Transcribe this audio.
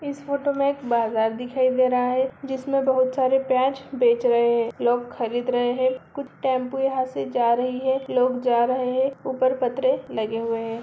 इस फोटो में एक बाजार दिखाई दे रहा है। जिसमें बहुत सारे प्याज बेच रहे हैं लोग खरीद रहे हैं कुछ टेंपो यहां से जा रही है लोग जा रहे हैं ऊपर पत्र लगे हुए हैं।